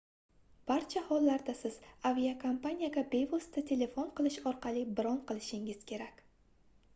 barcha hollarda siz aviakompaniyaga bevosita telefon qilish orqali bron qilishingiz kerak